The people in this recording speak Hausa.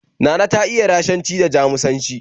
Nana ta iya Rashanci da Jamusanci